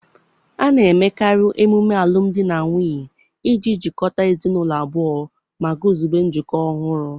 A na-emekarị emume alụmdi na nwunye iji jikọta ezinụlọ abụọ ma guzobe njikọ ọhụrụ